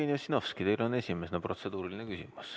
Jevgeni Ossinovski, teil on esimesena protseduuriline küsimus.